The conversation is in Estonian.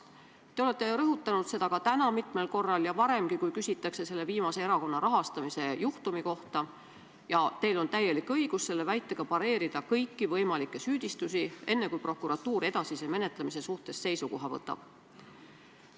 Te olete rõhutanud seda täna mitmel korral ja varemgi, kui küsitakse erakonna rahastamise viimase juhtumi kohta, ja teil on täielik õigus selle väitega pareerida kõiki võimalikke süüdistusi, enne kui prokuratuur edasise menetlemise suhtes seisukoha võtab.